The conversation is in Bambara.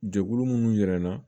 Jɛkulu minnu yira n na